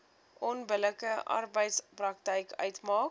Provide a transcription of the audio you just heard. onbillike arbeidspraktyk uitmaak